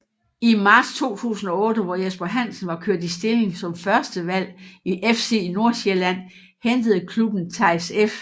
I marts 2008 hvor Jesper Hansen var kørt i stilling som førstevalg i FC Nordsjælland hentede klubben Theis F